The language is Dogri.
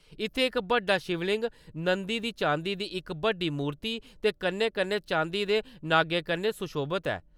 इत्थैं इक बड्डा शिवलिंग नंदी दी चांदी दी इक बड्डी मूर्ति दे कन्नै-कन्नै चांदी दे नागै कन्नै सुशोभत ऐ।